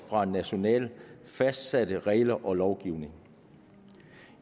fra nationalt fastsatte regler og lovgivning